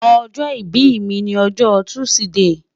ojo ibi mi ni ojo tuside